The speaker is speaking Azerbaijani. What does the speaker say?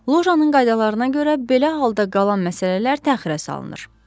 Lojanin qaydalarına görə belə halda qalan məsələlər təxirə salınır.